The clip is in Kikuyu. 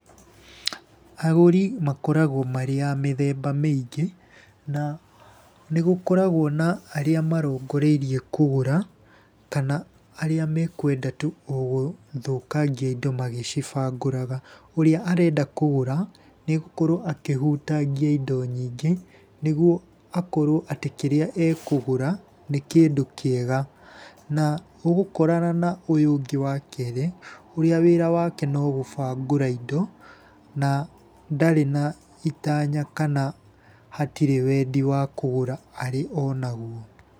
Agũri makoragwo marĩ a mĩthemba mĩingĩ, na nĩ gũkoragwo na arĩa marongoreirie kũgũra kana arĩa mekũenda tu o gũthũkangia indo magĩcibangũraga. Ũrĩa arenda kũgũra, nĩ egũkorwo akĩhutangia indo nyingĩ, nĩguo akorwo atĩ kĩrĩa ekũgũra, nĩ kĩndũ kĩega, na ũgũkorana na ũyũ ũngĩ wa kerĩ ũrĩa wĩra wake no gũbangũra indo na ndarĩ na itanya, kana hatirĩ wendi wa kũgũra arĩ o naguo.